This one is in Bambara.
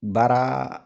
Baara